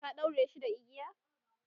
ka ɗaure shi da igiya?